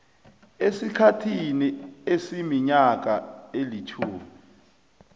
esikhathini esiminyaka elitjhumi